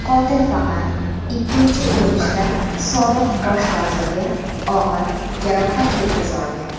qotil faqat ikkinchi urunishda sobiq bosh vazirga og‘ir jarohat yetkaza olgan.